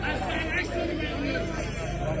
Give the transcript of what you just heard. Ya Hüseyn, Ya Hüseyn!